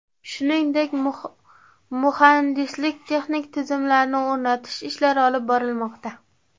Shuningdek, muhandislik-texnik tizimlarni o‘rnatish ishlari olib borilmoqda.